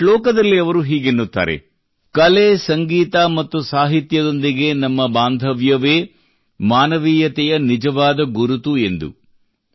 ಒಂದು ಶ್ಲೋಕದಲ್ಲಿ ಅವರು ಹೀಗೆನ್ನುತ್ತಾರೆ ಕಲೆ ಸಂಗೀತ ಮತ್ತು ಸಾಹಿತ್ಯದೊಂದಿಗೆ ನಮ್ಮ ಬಾಂಧವ್ಯವೇ ಮಾನವೀಯತೆಯ ನಿಜವಾದ ಗುರುತು ಎಂದು